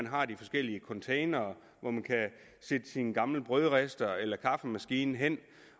har de forskellige containere hvor man sætte sin gamle brødrister eller kaffemaskine hen